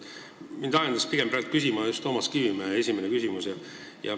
Mind ajendas praegu küsima just Toomas Kivimägi küsimus.